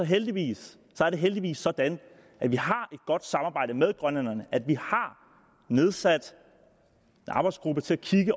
heldigvis heldigvis sådan at vi har et godt samarbejde med grønlænderne at vi har nedsat en arbejdsgruppe til